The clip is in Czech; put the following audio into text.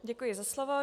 Děkuji za slovo.